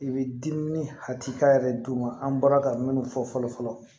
I bɛ dimi hakilita yɛrɛ d'u ma an bɔra ka minnu fɔ fɔlɔ fɔlɔ